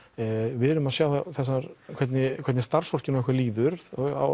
við erum að sjá hvernig hvernig starfsfólkinu okkar líður